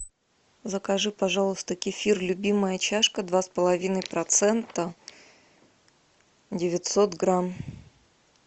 закажи пожалуйста кефир любимая чашка два с половиной процента девятьсот грамм